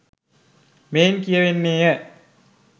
මෙයින් කියවෙන්නේය.